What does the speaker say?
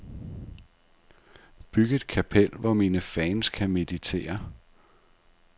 Byg et kapel, hvor mine fans kan meditere.